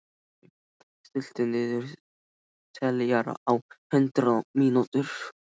Kaj, stilltu niðurteljara á hundrað mínútur.